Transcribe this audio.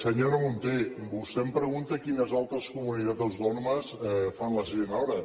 senyora munté vostè em pregunta quines altres comunitats autònomes fan la sisena hora